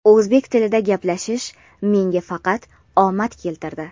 "O‘zbek tilida gaplashish menga faqat omad keltirdi!".